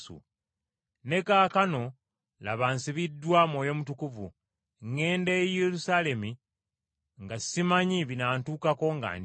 “Ne kaakano laba nsibiddwa Mwoyo Mutukuvu, ŋŋenda e Yerusaalemi nga simanyi binaantukako nga ndi eyo.